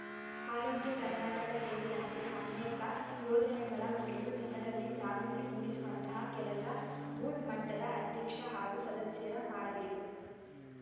ಆರೋಗ್ಯ ಕರ್ನಾಟಕ ಸೇರಿದಂತೆ ಅನೇಕ ಯೋಜನೆಗಳ ಕುರಿತು ಜನರಲ್ಲಿ ಜಾಗೃತಿ ಮೂಡಿಸುವಂತಹ ಕೆಲಸ ಬೂತ್ ಮಟ್ಟದ ಅಧ್ಯಕ್ಷ ಹಾಗೂ ಸದಸ್ಯರ ಮಾಡಬೇಕು